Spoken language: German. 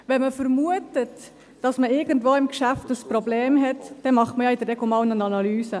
Wenn man vermutet, dass man irgendwo im Geschäft ein Problem hat, dann macht man ja in der Regel eine Analyse.